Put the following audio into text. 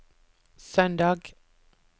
søndag